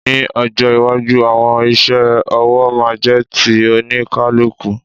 Ní ọjọ́ iwájú, àwọn iṣẹ́ ọwọ́ máa jẹ́ ti oníkálukú.